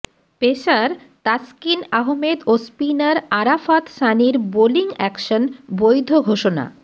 pacer Taskin Ahmed ও spinner Arafat সানির bowling action বৈধ ঘোষণা